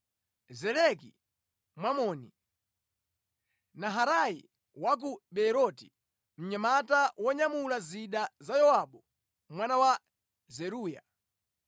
Zeleki Mwamoni, Naharai wa ku Beeroti, mnyamata wonyamula zida za Yowabu mwana wa Zeruya,